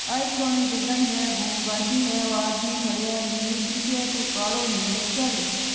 आई पुराणी जगह ही है घूम बा की है ओ आदमी खडयो है नीली टी शर्ट कालो नेकर --